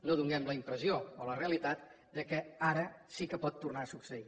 no donem la impressió o la realitat que ara sí que pot tornar a succeir